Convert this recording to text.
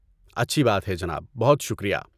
اچھی بات ہے، جناب! بہت شکریہ!